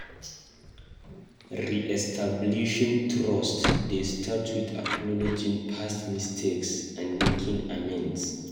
Re-establishing trust dey start with acknowledging past mistakes and making amends.